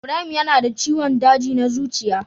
Ibrahim yana da ciwon daji na zuciya.